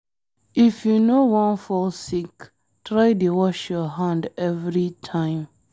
If you no wan fall sick, try dey wash your hand every time.